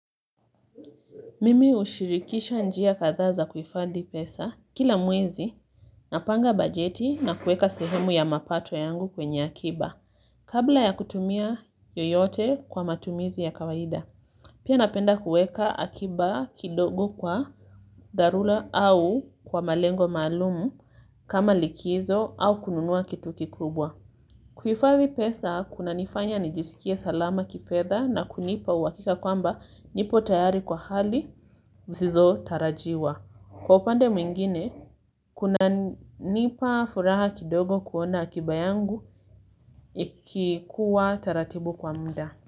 Mimi ushirikisha njia kadhaa za kuhifadhi pesa kila mwezi napanga bajeti na kueka sehemu ya mapato yangu kwenye akiba kabla ya kutumia yoyote kwa matumizi ya kawaida. Pia napenda kueka akiba kidogo kwa dharula au kwa malengo maalumu kama likizo au kununua kitu kikubwa. Kuifadhi pesa, kunanifanya nijiskie salama kifedha na kunipa uakika kwamba nipo tayari kwa hali zisizo tarajiwa. Kwa upande mwingine, kunanipa furaha kidogo kuona akiba yangu ikikuwa taratibu kwa mda.